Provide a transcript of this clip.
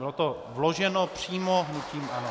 Bylo to vloženo přímo hnutím ANO.